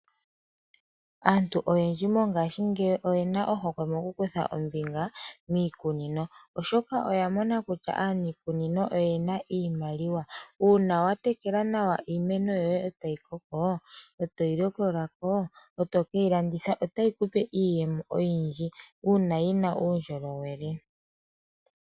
Aantu oyendji mongashingeyi oye na ohokwe mokukutha ombinga miikunino, oshoka oya mona kutya aanikunino oye na iimaliwa. Uuna wa tekela nawa iimeno yoye e tayi koko, e toyi likola ko e toke yi landitha, otayi kupe iiyemo oyindji uuna yi na uundjolowele.